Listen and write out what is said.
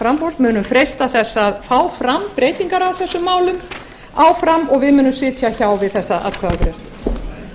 framboðs munum freista þess að fá fram breytingar á þessum málum áfram og við munum sitja hjá þessa